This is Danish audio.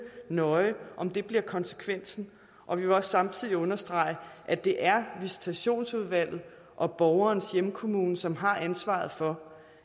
nøje om det bliver konsekvensen og vi vil også samtidig understrege at det er visitationsudvalget og borgerens hjemkommune som har ansvaret for